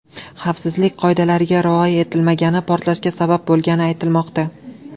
Xavfsizlik qoidalariga rioya etilmagani portlashga sabab bo‘lgani aytilmoqda.